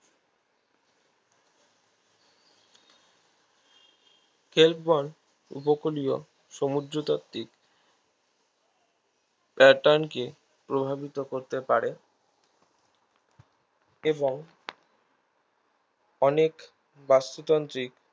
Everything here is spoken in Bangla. ক্লেববন উপকূলিও সমুদ্রতাত্ত্বিক pattern কে প্রভাবিত করতে পারে এবং অনেক বাস্তুতান্ত্রিক